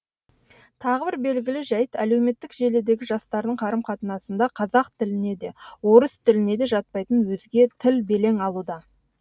тағы бір белгілі жайт әлеуметтік желідегі жастардың қарым қатынасында қазақ тіліне де орыс тіліне де жатпайтын өзге тіл белең алуда